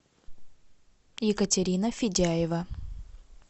екатерина федяева